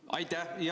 Aitäh!